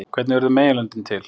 Hvernig urðu meginlöndin til?